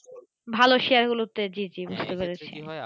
ভালো Share গুলো তে জি জি বুজতে পেরেছি এক্ষেত্রে কি হয়।